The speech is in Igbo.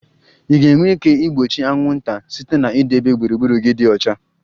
Ị ga-enwe ike igbochi anwụnta site na idebe gburugburu gị dị ọcha